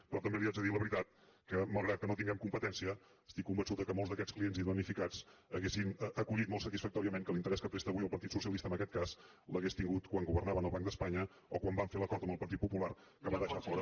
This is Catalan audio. però també li haig de dir la veritat que malgrat que no hi tinguem competència estic convençut que molts d’aquests clients i damnificats haurien acollit molt satisfactòriament que l’interès que presta avui el partit socialista en aquest cas l’hagués tingut quan governaven el banc d’espanya o quan van fer l’acord amb el partit popular que va deixar fora